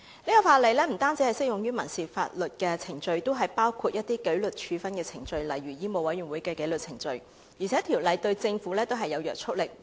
這項法例不單適用於民事法律程序，也包括紀律處分程序，例如香港醫務委員會的紀律程序；而《條例草案》對政府也具有約束力。